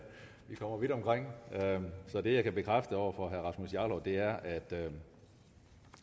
vi kommer vidt omkring det jeg kan bekræfte over for herre rasmus jarlov er at